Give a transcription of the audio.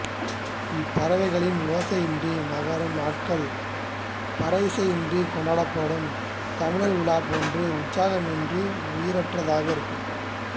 இப்பறவைகளின் ஓசையின்றி நகரும் நாட்கள் பறையிசையின்றி கொண்டாடப்படும் தமிழர்விழா போன்று உற்சாகமி்ன்றி உயிரற்றதாக இருக்கும்